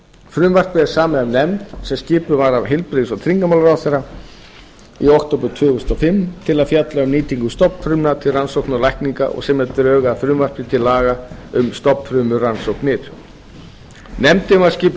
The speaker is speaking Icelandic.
frumvarpið er samið af nefnd sem skipuð var af heilbrigðis og tryggingamálaráðherra fimmta október tvö þúsund og fimm til að fjalla um nýtingu stofnfrumna til rannsókna og lækninga og semja drög að frumvarpi til laga um stofnfrumurannsóknir nefndin var skipuð